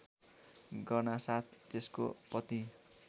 गर्नासाथ त्यसको पति